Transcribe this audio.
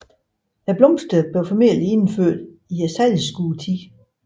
Blomsterne blev formentlig indført i sejlskudetiden